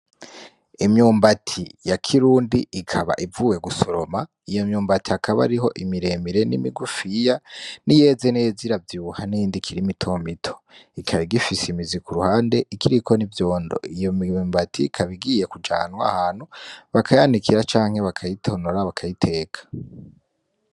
Imyumbati ya kirundi ikaba ivuwe gusuromwa, iyo myumbati akaba ariho imiremire n'imigufiya n'iyeze neza ira vyibuha niyindi ikiri mitomito, ikaba igifise imiziko uruhande ikiriko n'ivyondo iyo myumbati ikabigiye kujanwa hantu bakayanikira canke bakayitonora bakayiteka.